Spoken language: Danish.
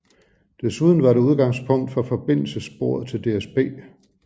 Desuden var det udgangspunkt for forbindelsessporet til DSB